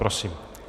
Prosím.